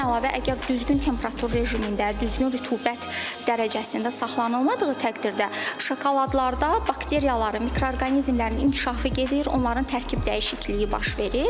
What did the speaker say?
Bundan əlavə, əgər düzgün temperatur rejimində, düzgün rütubət dərəcəsində saxlanılmadığı təqdirdə şokoladlarda bakteriyaların, mikroorqanizmlərin inkişafı gedir, onların tərkib dəyişikliyi baş verir.